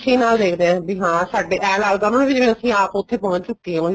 ਖੁਸ਼ੀ ਨਾਲ ਦੇਖਦੇ ਹਾਂ ਵੀ ਸਾਡੇ ਹਾਂ ਏਵੇਂ ਲੱਗਦਾ ਉਹਨਾ ਨੂੰ ਅਸੀਂ ਆਪ ਉੱਥੇ ਪਹੁੰਚ ਚੁੱਕੇ ਹਾਂ